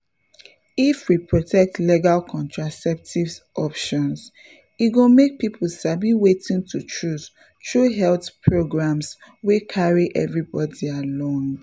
if we protect legal contraceptive options e go make people sabi wetin to choose through health programs wey carry everybody along.